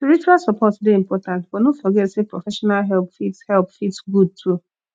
spiritual support dey important but no forget sey professional help fit help fit good too